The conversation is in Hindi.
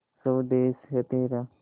स्वदेस है तेरा